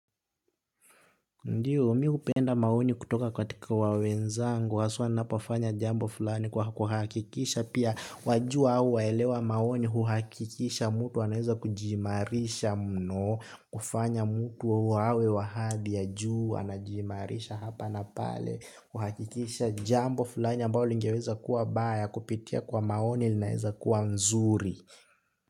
Ndiyo, mimi upenda maoni kutoka katika wenzangu, haswa ninapoafanya jambo fulani kuhakikisha, pia wajua hua elewa maoni huhakikisha mtu, anaweza kujimarisha mno, kufanya mtu huwa awe wa hadhi ya juu, anajimarisha hapa na pale, huhakikisha jambo fulani ambalo lingeweza kuwa baya, kupitia kwa maoni linaweza kuwa nzuri.